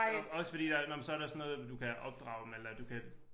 Også fordi der nåh men så der sådan noget du kan opdrage dem eller du kan